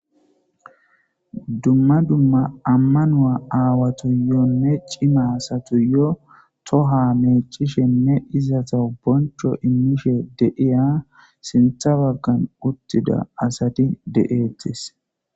Dumma dumma amano aawatanne dere cimmatas toha meeccishene izetas bochcho immiya asati izetas sinththa baggan deetees.